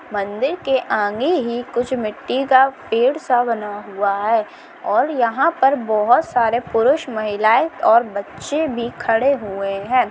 मंदिर के आगे ही कुछ मिट्टी का पेड़ सा बना हुआ है और यहां पर बहुत सारे पुरुष महिलाएं और बच्चे भी खड़े हुए है।